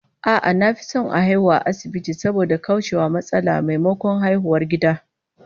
A'a, na fi son a haihu a asibiti saboda kauce wa matsala, maimakon haihuwar gida